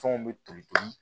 Fɛnw bɛ toli ten